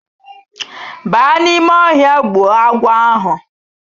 Ba n'ime ohia gbuo agwo ahu